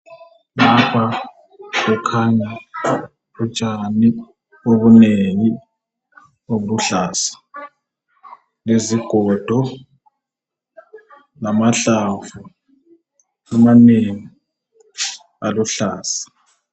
Lapha kukhanya utshani obunengi obuluhlaza lezigodo lamahlamvu amanengi aluhlaza.